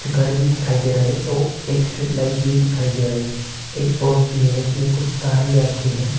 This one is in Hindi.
घर भी दिखाई दे रहा है और एक स्ट्रीट लाइट भी दिखाई दे रहा है एक पोल भी है उसमें कुछ तार भी आ के है।